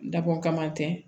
Dabɔ kama tɛ